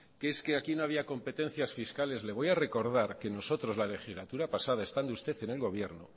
que es que aquí no había competencias fiscales le voy a recordar que nosotros la legislatura pasada estando usted en el gobierno